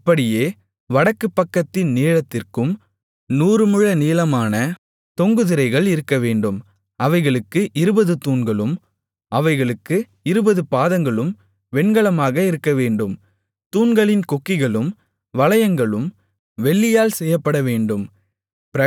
அப்படியே வடக்கு பக்கத்தின் நீளத்திற்கும் நூறுமுழ நீளமான தொங்கு திரைகள் இருக்கவேண்டும் அவைகளுக்கு இருபது தூண்களும் அவைகளுக்கு இருபது பாதங்களும் வெண்கலமாக இருக்கவேண்டும் தூண்களின் கொக்கிகளும் வளையங்களும் வெள்ளியால் செய்யப்படவேண்டும்